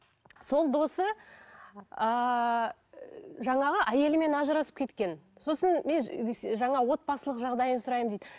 сол досы ыыы жаңағы әйелімен ажырасып кеткен сосын жаңа отбасылық жағдайын сұраймын дейді